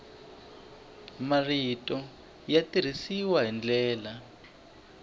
marito ya tirhisiwa hi tindlela